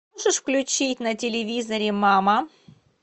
можешь включить на телевизоре мама